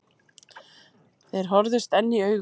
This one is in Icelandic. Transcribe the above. Þeir horfðust enn í augu.